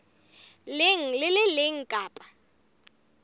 leng le le leng kapa